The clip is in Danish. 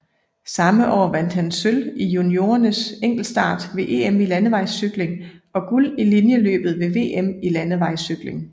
Samme år vandt han sølv i juniorernes enkeltstart ved EM i landevejscykling og guld i linjeløbet ved VM i landevejscykling